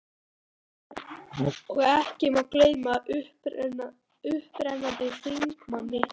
Og ekki má gleyma upprennandi þingmanni